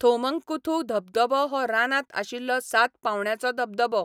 थोमंकुथू धबधबो हो रानांत आशिल्लो सात पांवड्याचो धबधबो.